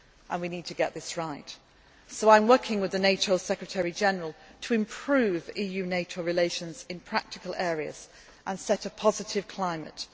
issues. We need to get this right so I am working with the NATO Secretary General to improve EU NATO relations in practical areas and set a positive